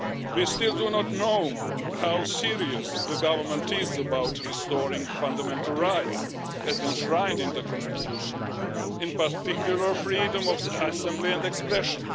We still do not know how serious the government is about restoring fundamental rights, as enshrined in the constitution, in particular, freedom of assembly and expression.